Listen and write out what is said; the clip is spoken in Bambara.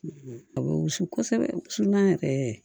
A bɛ wusu kosɛbɛ an yɛrɛ